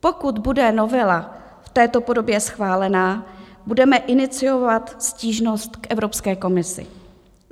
Pokud bude novela v této podobě schválena, budeme iniciovat stížnost k Evropské komisi.